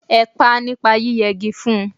Ẹ pá nípa yí yẹ gi fun